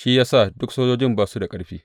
Shi ya sa duk sojojin ba su da ƙarfi.